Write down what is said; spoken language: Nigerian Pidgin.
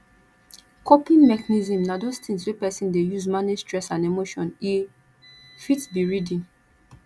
coping mechnism na those things wey person dey use manage stress and emotion e fit be reading